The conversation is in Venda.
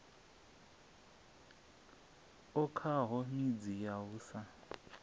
okaho midzi ya u sa